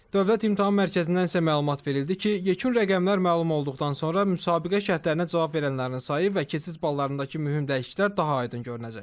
Dövlət İmtahan Mərkəzindən isə məlumat verildi ki, yekun rəqəmlər məlum olduqdan sonra müsabiqə şərtlərini ödəyənlərin sayı və keçid ballarındakı mühüm dəyişikliklər daha aydın görünəcək.